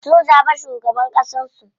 Sun zaɓi shugaban ƙasan su.